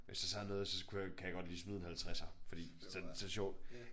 Hvis der så er noget så kunne jeg kan jeg godt lige smide en 50'er fordi så så det sjovt